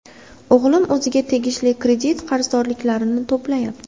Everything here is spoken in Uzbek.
O‘g‘lim o‘ziga tegishli kredit qarzdorliklarni to‘layapti.